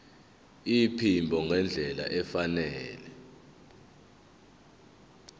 iphimbo ngendlela efanele